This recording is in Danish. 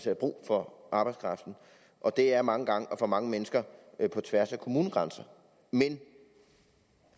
er brug for arbejdskraften og det er mange gange og for mange mennesker på tværs af kommunegrænser men